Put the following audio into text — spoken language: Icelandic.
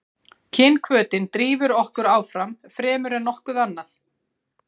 Kynhvötin drífur okkur áfram fremur en nokkuð annað.